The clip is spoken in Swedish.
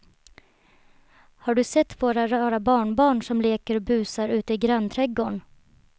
Har du sett våra rara barnbarn som leker och busar ute i grannträdgården!